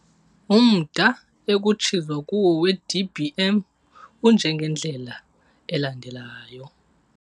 Umda ekutshizwa kuwo weDBM unjengendlela elandelayo.